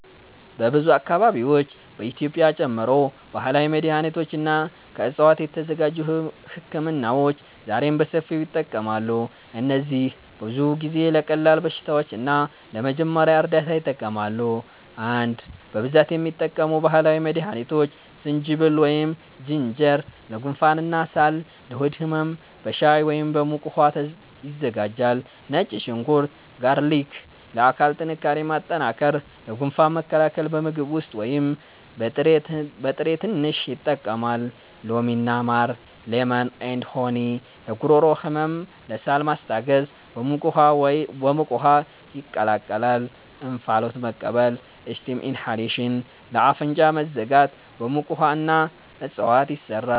በብዙ አካባቢዎች (በኢትዮጵያ ጨምሮ) ባህላዊ መድሃኒቶች እና ከዕፅዋት የተዘጋጁ ህክምናዎች ዛሬም በሰፊው ይጠቀማሉ። እነዚህ ብዙ ጊዜ ለቀላል በሽታዎች እና ለመጀመሪያ እርዳታ ይጠቅማሉ። 1) በብዛት የሚጠቀሙ ባህላዊ መድሃኒቶች ዝንጅብል (Ginger) ለጉንፋን እና ሳል ለሆድ ህመም በሻይ ወይም በሙቅ ውሃ ይዘጋጃል ነጭ ሽንኩርት (Garlic) ለአካል ጥንካሬ ማጠናከር ለጉንፋን መከላከል በምግብ ውስጥ ወይም በጥሬ ትንሽ ይጠቀማል ሎሚ እና ማር (Lemon & Honey) ለጉሮሮ ህመም ለሳል ማስታገስ በሙቅ ውሃ ይቀላቀላል እንፋሎት መቀበል (Steam inhalation) ለአፍንጫ መዘጋት በሙቅ ውሃ እና እፅዋት ይሰራል